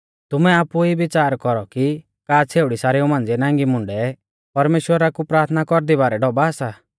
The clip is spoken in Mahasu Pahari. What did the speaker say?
तुमै आपु ई बिच़ार कौरौ कि का छ़ेउड़ी सारेऊ मांझ़िऐ नांगी मुंडै परमेश्‍वरा कु प्राथना कौरदी बारै ढौभा सा